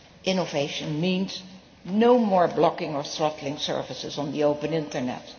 Innovation means no more blocking or throttling services on the open Internet.